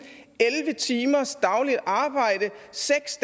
elleve timers dagligt arbejde seks